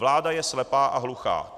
Vláda je slepá a hluchá.